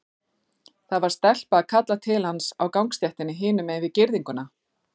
Það var stelpa að kalla til hans á gangstéttinni hinum megin við girðinguna.